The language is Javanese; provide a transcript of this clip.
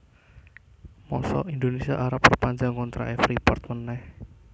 mosok Indonesia arep perpanjang kontrak e Freeport maneh